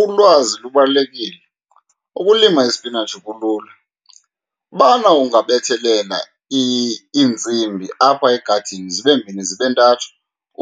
Ulwazi lubalulekile, ukulima isipinatshi kulula. Ubana ungabethelela iintsimbi apha egadini zibe mbini zibe ntathu